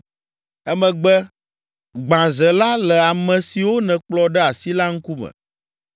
“Emegbe, gbã ze la le ame siwo nèkplɔ ɖe asi la ŋkume,